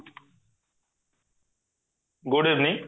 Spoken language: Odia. good evening